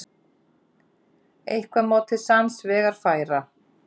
Eitthvað má til sanns vegar færa